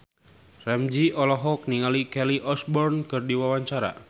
Ramzy olohok ningali Kelly Osbourne keur diwawancara